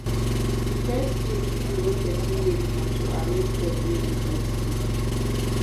Di first thing to do when person wake na to arrange bed wey im take sleep